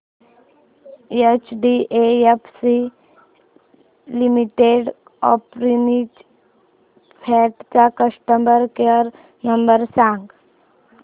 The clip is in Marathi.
एचडीएफसी मिडकॅप ऑपर्च्युनिटीज फंड चा कस्टमर केअर नंबर सांग